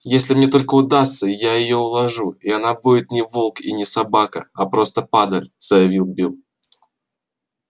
если мне только удастся я её уложу и она будет не волк и не собака а просто падаль заявил билл